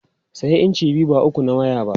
Sayi inci biyu ba uku na waya ba!